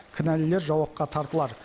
кінәлілер жауапқа тартылар